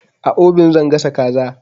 A obin zan gasa kaza.